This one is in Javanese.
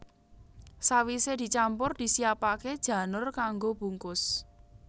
Sawisé dicampur disiapaké janur kanggo bungkus